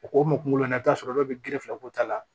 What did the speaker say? O k'o kunkolo i b'a sɔrɔ dɔw bɛ gere fila ko ta la